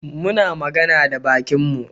Muna magana da bakinmu.